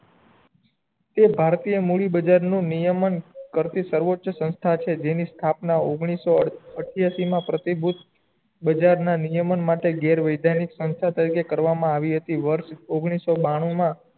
તે ભારતીય મૂલી બજાર નું નિયમન કરતી સર્વોચ સંસ્થા છે જેની સ્થાપના ઓઘ્નીસ સૌ અઠ્યાસી મા પ્રતિભૂત બજાજ ના નિયમો માટે ઘેર વૈજ્ઞાનિક ની સંસ્થા તરીકે કરવા મા આવી હતી વર્ષ ઓઘીનીસ સૌ બાનુ મા